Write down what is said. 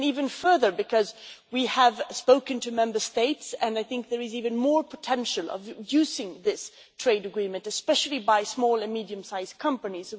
Even further, we have spoken to Member States and I think there is even more potential for using this trade agreement, especially by small or medium sized companies.